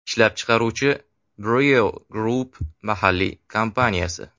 Ishlab chiquvchi Brio Group mahalliy kompaniyasi.